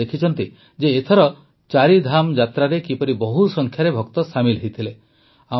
ଆପଣ ଦେଖିଛନ୍ତି ଯେ ଏଥର ଚାରିଧାମ ଯାତ୍ରାରେ କିପରି ବହୁ ସଂଖ୍ୟାରେ ଭକ୍ତ ସାମିଲ୍ ହୋଇଥିଲେ